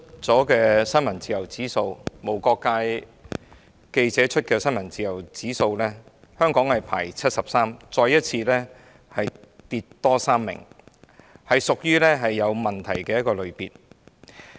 根據無國界記者今年剛剛公布的新聞自由指數，香港排名第七十三，再下跌3位，屬於有問題的一個類別。